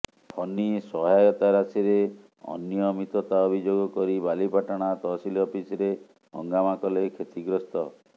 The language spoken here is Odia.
ଫନି ସହାୟତା ରାଶିରେ ଅନିୟମିତତା ଅଭିଯୋଗ କରି ବାଲିପାଟଣା ତହସିଲ ଅଫିସରେ ହଙ୍ଗାମା କଲେ କ୍ଷତିଗ୍ରସ୍ତ